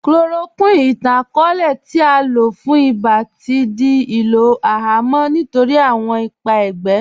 Chloroquine, ìtàn-akọọlẹ̀ tí à lọ fún ìbá, tí rí ilò ihamọ̀̀ nítorí awọn ìpà ègbé.